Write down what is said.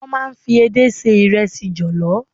Wọ́n máa ń fi edé se ìrẹsì jọ̀lọ́.